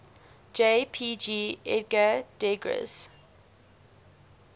jpg edgar degas